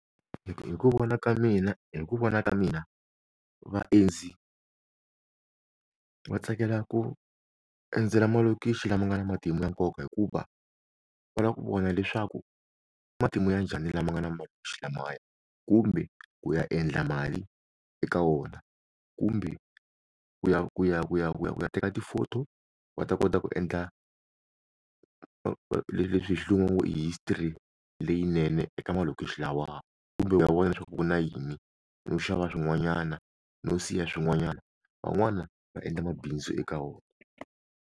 Hi ku vona ka mina, hi ku vona ka mina vaendzi va tsakela ku endzela malokixi lama nga na matimu ya nkoka hikuva va lava ku vona leswaku i matimu ya njhani lama nga na , kumbe ku ya endla mali eka wona kumbe ku ya ku ya ku ya ku ya ku ya teka ti-photo va ta kota ku endla leswi hi xilungu history leyinene eka malokixi lawaya kumbe va vona leswaku ku na yini no xava swin'wanyana no siya swin'wanyana van'wana va endla mabindzu eka wona.